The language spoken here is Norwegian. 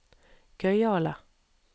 gøyale